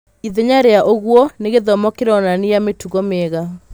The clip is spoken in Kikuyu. ĩthenya rĩa ũguo, nĩ gĩthomo kĩronania mĩtugo mĩega.